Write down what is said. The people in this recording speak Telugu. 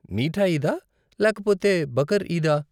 మీఠ ఈదా లేకపోతే బకర్ ఈదా?